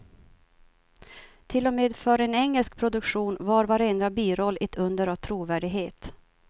Till och med för en engelsk produktion var varenda biroll ett under av trovärdighet.